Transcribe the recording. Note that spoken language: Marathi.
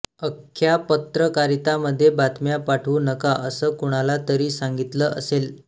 अख्या पत्रकारितामध्ये बातम्या पाठवू नका असं कुणाला तरी सांगतिलं असेल